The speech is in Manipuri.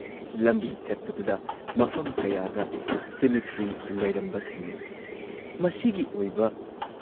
ꯂꯝꯕꯤ ꯆꯠꯄꯗꯨꯗ ꯃꯐꯝ ꯀꯌꯥꯗ ꯁꯤꯃꯤꯇ꯭ꯔꯤ ꯂꯩꯔꯝꯕ ꯊꯦꯡꯅꯩ ꯫